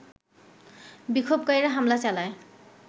বিক্ষোভকারীরা হামলা চালায়